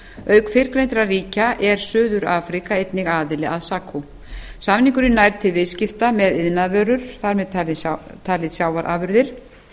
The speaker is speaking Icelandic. auk fyrrgreindra ríkja er suður afríka einnig aðili að sacu samningurinn nær til viðskipta með iðnaðarvörur þar með taldar sjávarafurðir